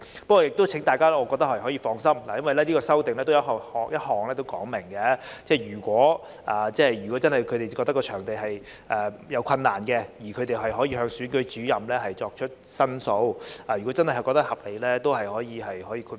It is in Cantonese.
我亦請大家放心，這項修正案已經訂明，如果他們認為借出場地有困難，可以向總選舉事務主任作出申述，如被認為屬合理，仍可獲得豁免。